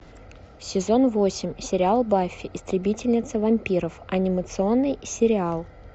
сезон восемь сериал баффи истребительница вампиров анимационный сериал